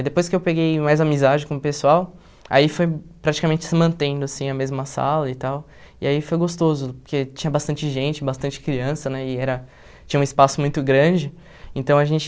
E depois que eu peguei mais amizade com o pessoal, aí foi praticamente se mantendo, assim, a mesma sala e tal, e aí foi gostoso, porque tinha bastante gente, bastante criança, né, e era... tinha um espaço muito grande, então a gente...